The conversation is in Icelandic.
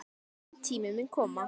Minn tími mun koma.